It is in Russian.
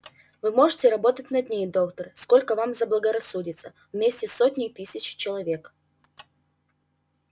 вы можете работать на ней доктор сколько вам заблагорассудится вместе с сотней тысяч человек